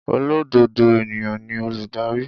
Olododo eniyan ni oludari.